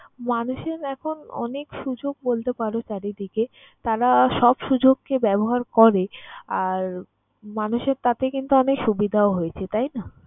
মানুষের এখন অনেক সুযোগ বলতে পারো চারিদিকে। তারা সব সুযোগকে ব্যবহার করে। আর মানুষের তাতে কিন্তু অনেক সুবিধাও হয়েছে তাই না?